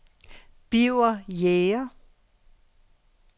Birger Jæger